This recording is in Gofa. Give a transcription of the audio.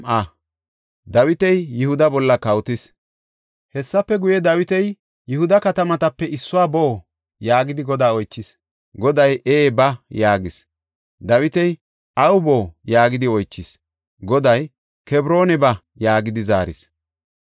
Hessafe guye, Dawiti, “Yihuda katamatape issuwa boo?” yaagidi Godaa oychis. Goday, “Ee, ba” yaagis. Dawiti, “Awu boo” yaagidi oychis. Goday, “Kebroona ba” yaagidi zaaris.